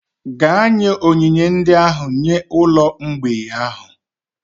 Gaa nye onyinye ndị ahụ nye ụlọ mgbei ahụ!